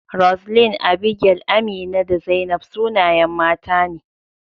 Roseline, Abigail, Amina, da Zainab sunayen mata ne.